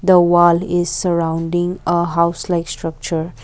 the wall is surrounding a house like structure.